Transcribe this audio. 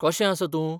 कशें आसा तूं?